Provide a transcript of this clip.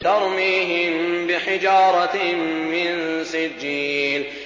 تَرْمِيهِم بِحِجَارَةٍ مِّن سِجِّيلٍ